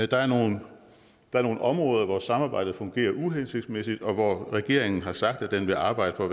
der er nogle er nogle områder hvor samarbejdet fungerer uhensigtsmæssigt og hvor regeringen har sagt at den vil arbejde for